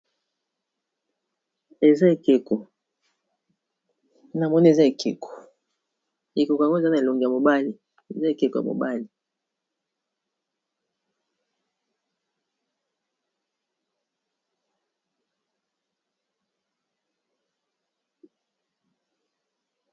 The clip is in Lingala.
Eza ekeko namoni eza ekeko, ekeko yango eza na elongi ya mobali eza ekeko ya mobali.